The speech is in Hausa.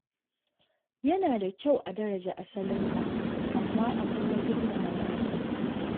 Yana da kyau a daraja asalinka, amma a kuma girmama na wasu.